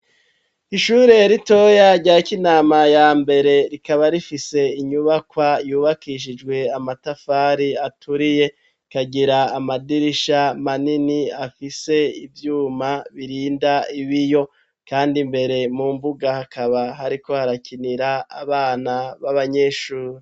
Ishuriye ritoya ryako inama ya mbere rikaba rifise inyubakwa yubakishijwe amatafari aturiye kagira amadirisha manini afise ivyuma birinda ibiyo, kandi mbere mu mvuga hakaba hariko harakinira abana b'abanyeshuri.